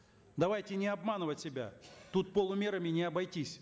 давайте не обманывать себя тут полумерами не обойтись